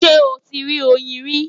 Ṣé o ti rí oyin rí?